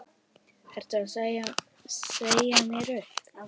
Ertu að segja mér upp?